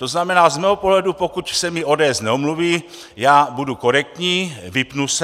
To znamená z mého pohledu, pokud se mi ODS neomluví, já budu korektní, vypnu se.